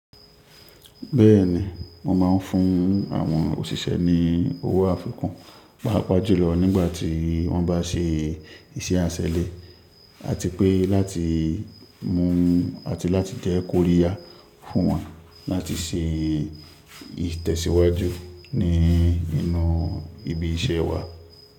Bẹ́ẹ̀ni, mo máa n fún àwọn òṣìṣẹ́ ní owó àfikún, pàápàá jùlọ nígbà tí wọ́n bá se ìṣe àṣẹlẹ àti pé láti mú àti láti jẹ́ kóríyá fún wọn láti se ìtẹ̀síwájú ní inú ibi iṣẹ́ wa.